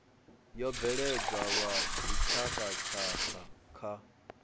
yo bveledzwa lwa dzitshakhatshakha kha